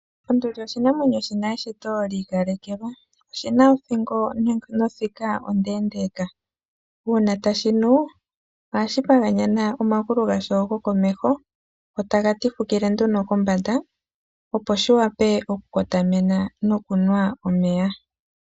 Onduli oshinamwenyo. Shina eshito lyikalekelwa, oshina othingo nothika ondendeka, una tashinu ohashi paganyana omangulu gasho gokomeho, go tagatifukile nduno kombanda opo shiwape oku kotomena nokunwa omeya.